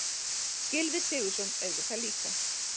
Gylfi Sigurðsson auðvitað líka.